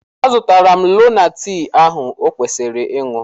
Azụtala m lonaatị ahụ o kwesịrị ịṅụ.